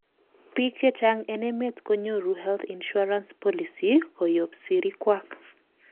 biik chechang en emet konyoru health insurance policy koyob sirikwak